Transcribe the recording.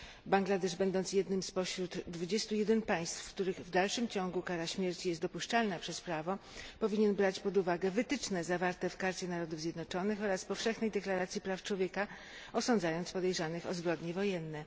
Bangladesz, będąc jednym spośród 21 państw, w których w dalszym ciągu kara śmierci jest dopuszczalna przez prawo, powinien brać pod uwagę wytyczne zawarte w Karcie Narodów Zjednoczonych oraz Powszechnej Deklaracji Praw Człowieka, osądzając podejrzanych o zbrodnie wojenne.